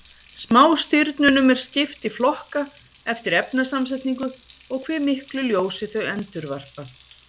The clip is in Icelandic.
Smástirnunum er skipt í flokka eftir efnasamsetningu og hve miklu ljósi þau endurvarpa.